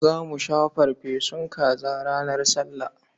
Za mu sha farfesun kaza ranar Sallah.